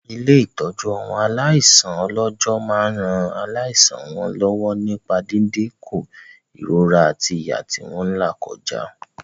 Ilé-ìtọ́jú àwọn aláìsàn ọlọ́jọ́ máa ran láìsàn wọn lọ́wọ́ nípa dídínkù ìrora àti ìyà tí wọ́n làkọjá.